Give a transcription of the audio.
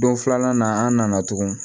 Don filanan na an nana tugun